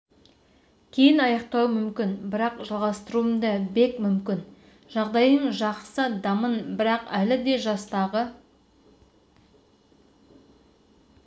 жігіт сезінемін бұл бокс футбол емес бұл ойын емес шайқас әрбір шайқас күрделі деді головкин